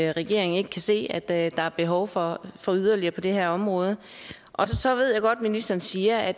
regeringen ikke kan se at at der er behov for yderligere på det her område og så ved jeg godt at ministeren siger at